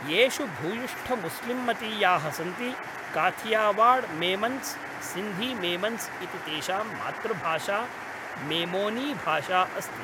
येषु भूयिष्ठमुस्लिम्मतीयाः सन्ति, काथियावाड् मेमन्स् सिन्धी मेमन्स् इति तेषां मातृभाषा मेमोनीभाषा अस्ति।